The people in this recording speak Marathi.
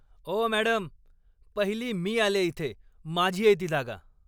ओ मॅडम, पहिली मी आलेय इथे. माझी आहे ती जागा.